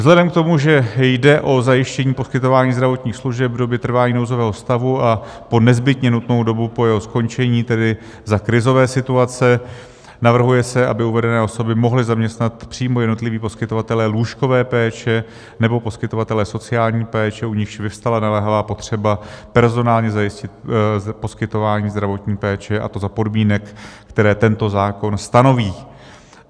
Vzhledem k tomu, že jde o zajištění poskytování zdravotních služeb v době trvání nouzového stavu a po nezbytně nutnou dobu po jeho skončení, tedy za krizové situace, navrhuje se, aby uvedené osoby mohli zaměstnat přímo jednotliví poskytovatelé lůžkové péče nebo poskytovatelé sociální péče, u nichž vyvstala naléhavá potřeba personálně zajistit poskytování zdravotní péče, a to za podmínek, které tento zákon stanoví.